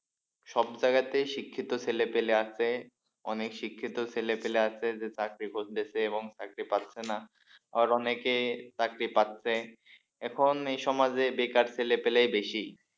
সব জায়গাতেই শিক্ষিত ছেলেপেলে আছে অনেক শিক্ষিত ছেলেপেলে আছে যে চাকরি করতেছে এবং চাকরি পাচ্ছে না আবার অনেকে চাকরি পাচ্ছে এখন এই সমাজে বেকার ছেলেপেলেই বেশি।